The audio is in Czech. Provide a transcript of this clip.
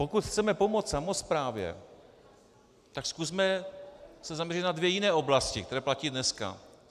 Pokud chceme pomoct samosprávě, tak se zkusme zaměřit na dvě jiné oblasti, které platí dneska.